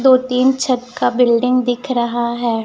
दो तीन छत का बिल्डिंग दिख रहा है।